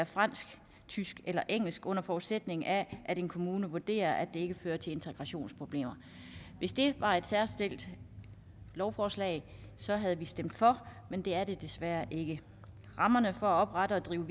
fransk tysk eller engelsk under forudsætning af at en kommune vurderer at det ikke fører til integrationsproblemer hvis det var et særskilt lovforslag havde vi stemt for men det er det desværre ikke rammerne for at oprette og drive